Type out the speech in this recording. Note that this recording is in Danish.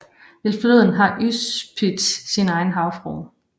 Ved floden har Užupis sin egen havfrue